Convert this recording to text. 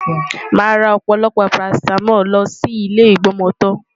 Màá ra ọ̀pọ̀lọpọ̀ parasítámọ̀ lọ sí ilé ìgbọmọtọ́.